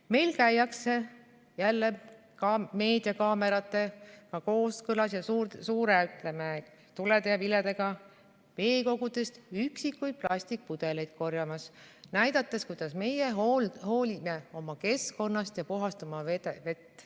Meil käiakse jälle ka koos meediakaameratega ja suurte tulede ja viledega veekogudest üksikuid plastikpudeleid korjamas, näidates, kuidas meie hoolime oma keskkonnast ja puhastame oma vett.